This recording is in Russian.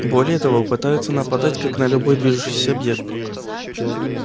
более того пытаются нападать как на любой движущийся объект